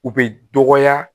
U bɛ dɔgɔya